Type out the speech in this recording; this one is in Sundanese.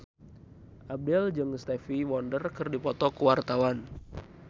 Abdel jeung Stevie Wonder keur dipoto ku wartawan